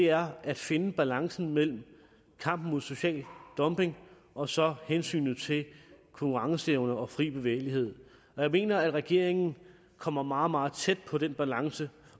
er at finde balancen mellem kampen mod social dumping og så hensynet til konkurrenceevne og fri bevægelighed jeg mener at regeringen kommer meget meget tæt på den balance